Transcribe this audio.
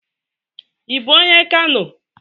Ị bu onye Kano?